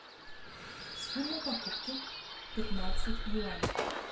сумма покупки пятнадцать юаней